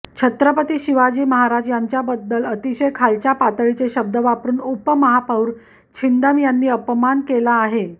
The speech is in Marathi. छत्रपती शिवाजी महाराज यांचाबद्दल अतिशय खालच्या पातळीचे शब्द वापरून उपमहापौर छिंदम यांनी अपमान केला आहे